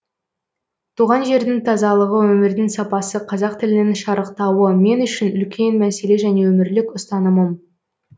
туған жердің тазалығы өмірдің сапасы қазақ тілінің шарықтауы мен үшін үлкен мәселе және өмірлік ұстанымым